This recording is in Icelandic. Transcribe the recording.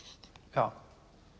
já